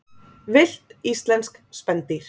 Villt íslensk spendýr.